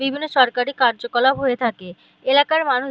বিভিন্ন সরকারি কার্যকলাপ হয়ে থাকে এলাকার মানুষ --